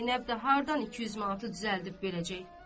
Zeynəb də hardan 200 manatı düzəldib verəcək?